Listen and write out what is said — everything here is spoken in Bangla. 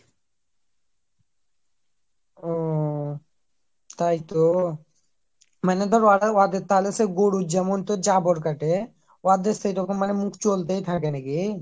ওহ তাইতো মানে ধর ওহদের তাহলে গরুর যেমন তো জাবর কাটে, ওদের সেইরকম মানে মুখ চলতেই থাকে নাকি ?